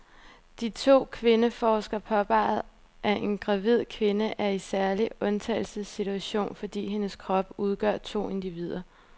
De to kvindeforskere påpeger, at en gravid kvinde er i en særlig undtagelsessituation, fordi hendes krop udgør to individer.